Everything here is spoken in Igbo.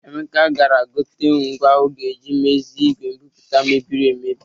Emeka gara igote ngwa ọ ga-eji mezie igwe mbipụta mebirir emebi